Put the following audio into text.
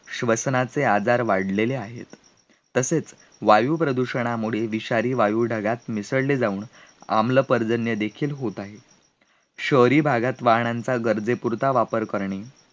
श्वसनाचे आजार वाढलेले आहेत तसेच, वायुप्रदूषणामुळे वीशारी वायू ढगात मिसळले जाऊन आम्ल पर्जन्य देखील होत आहे, शहरी भागात वाहनांचा गरजेपुरता वापर करणे